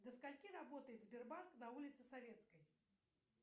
до скольки работает сбербанк на улице советской